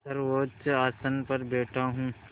सर्वोच्च आसन पर बैठा हूँ